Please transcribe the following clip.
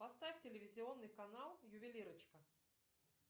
поставь телевизионный канал ювелирочка